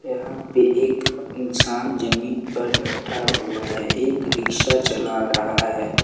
यहां पे एक इंसान जमीन पर बैठा हुआ है एक रिक्शा चला रहा है।